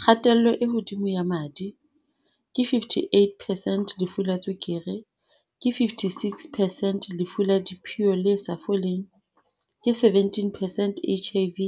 Kgatello e hodimo ya madi, ke 58 percent Lefu la tswekere, ke 56 percent Lefu la diphio le sa foleng, ke 17 percent HIV,